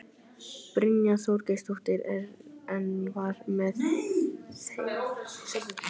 Brynja Þorgeirsdóttir: En hvað með þensluhvetjandi áhrifin af þessu?